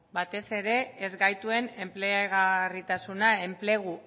batez ere ezgaituen enplegarritasuna enplegu